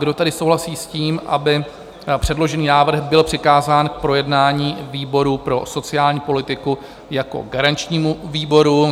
Kdo tedy souhlasí s tím, aby předložený návrh byl přikázán k projednání výboru pro sociální politiku jako garančnímu výboru?